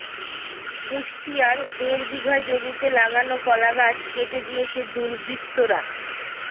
কুষ্টিয়ায় দেড় বিঘা জমিতে লাগানো কলাগাছ কেটে দিয়েছে দুর্বৃত্তরা